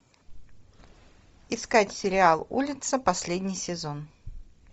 искать сериал улица последний сезон